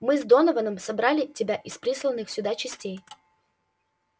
мы с донованом собрали тебя из присланных сюда частей